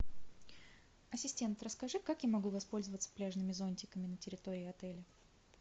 ассистент расскажи как я могу воспользоваться пляжными зонтиками на территории отеля